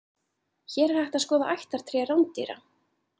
Hér er hægt að skoða ættartré rándýra.